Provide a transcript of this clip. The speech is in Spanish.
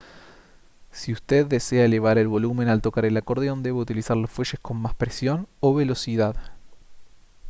si usted desea elevar el volumen al tocar el acordeón debe utilizar los fuelles con más presión o velocidad